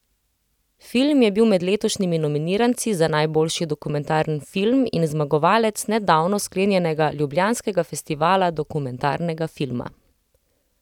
Film je bil med letošnjimi nominiranci za najboljši dokumentarni film in zmagovalec nedavno sklenjenega ljubljanskega Festivala dokumentarnega filma.